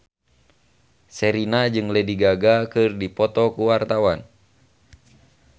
Sherina jeung Lady Gaga keur dipoto ku wartawan